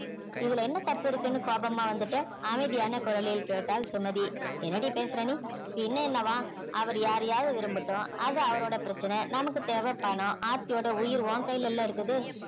இதுல என்ன தப்பு இருக்குன்னு கோபமா வந்துட்ட அமைதியான குரலில் கேட்டாள் சுமதி என்னடி பேசற நீ பின்ன என்னவாம் அவர் யாரையாவது விரும்பட்டும் அது அவரோட பிரச்சனை நமக்கு தேவை பணம் ஆர்த்தியோட உயிர் உன் கையில இல்ல இருக்குது